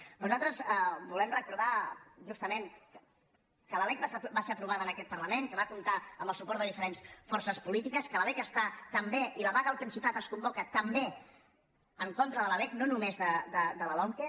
però nosaltres volem recordar justament que la lec va ser aprovada en aquest parlament que va comptar amb el suport de diferents forces polítiques que la lec està també i la vaga al principat es convoca també en contra de la lec no només de la lomqe